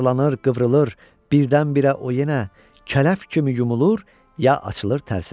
Yuvarlanır, qıvrılır, birdən-birə o yenə kələf kimi yumulur, ya açılır tərsinə.